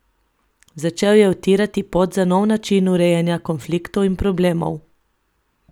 Začel je utirati pot za nov način urejanja konfliktov in problemov.